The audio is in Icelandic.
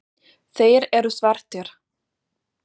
Þeir eru svartir.